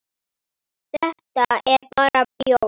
Þetta er bara bjór.